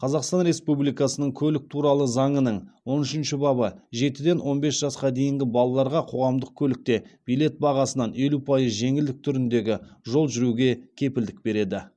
қазақстан республикасының көлік туралы заңының он үшінші бабы жетіден он бес жасқа дейінгі балаларға қоғамдық көлікте билет бағасынан елу пайыз жеңілдік түріндегі жол жүруге кепілдік береді